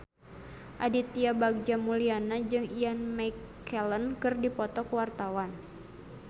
Aditya Bagja Mulyana jeung Ian McKellen keur dipoto ku wartawan